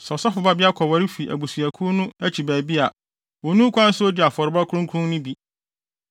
Sɛ ɔsɔfo babea kɔware fi abusuakuw no akyi baabi a, onni ho kwan sɛ odi afɔrebɔde kronkron no bi.